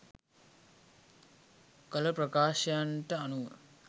කළ ප්‍රකාශයන්ට අනුව